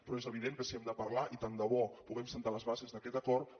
però és evident que si hem de parlar i tant de bo puguem establir les bases d’aquest acord